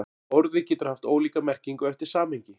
Orðið getur haft ólíka merkingu eftir samhengi.